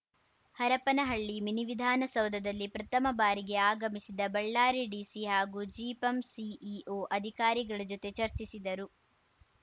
ಹರಪನಹಳ್ಳಿ ಮಿನಿವಿಧಾನ ಸೌಧದಲ್ಲಿ ಪ್ರಥಮ ಬಾರಿಗೆ ಆಗಮಿಸಿದ ಬಳ್ಳಾರಿ ಡಿಸಿ ಹಾಗೂ ಜಿಪಂ ಸಿಇಓ ಅಧಿಕಾರಿಗಳ ಜೊತೆ ಚರ್ಚಿಸಿದರು